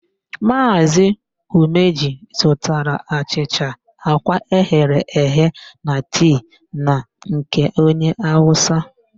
Maazị Umeji zụtara achịcha, àkwá eghere eghe na tii na nke onye Awụsa.